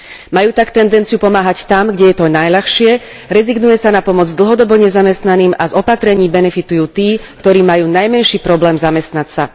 Majú tak tendenciu pomáhať tam, kde je to najľahšie, rezignuje sa na pomoc dlhodobo nezamestnaným a z opatrení benefitujú tí, ktorí majú najmenší problém zamestnať sa.